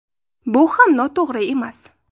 Bu ham noto‘g‘ri emas.